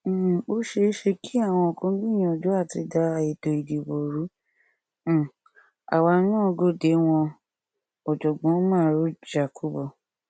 um ó ṣẹẹṣẹ kí àwọn kan gbìyànjú àti da ètò ìdìbò ru um àwa náà gò dé wọn ọjọgbọn mahrod yakubu